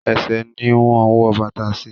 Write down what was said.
Ẹṣẹ̀ ni wọ́n ń wọ bàtà sí.